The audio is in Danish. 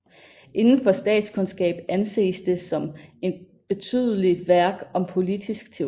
Indenfor statskundskab anses det som et betydelig værk om politisk teori